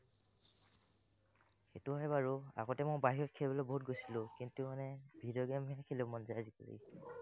সেটো হয় বাৰু, আগত মই বাহিৰত খেলিবলৈ বহুত গৈছিলো, কিন্তু মানে video game হে খেলিবলৈ মন যায় আজিকালি।